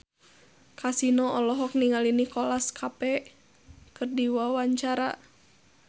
Kasino olohok ningali Nicholas Cafe keur diwawancara